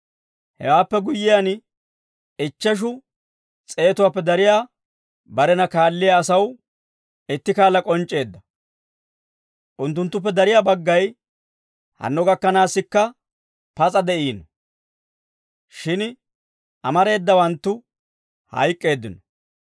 Hewaappe guyyiyaan, ichcheshu s'eetuwaappe dariyaa barena kaalliyaa asaw itti kaala k'onc'c'eedda. Unttunttuppe dariyaa baggay hanno gakkanaassikka pas'a de'iino; shin amareedawanttu hayk'k'eeddino.